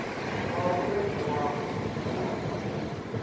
wa vhuendi wa vuṋdu u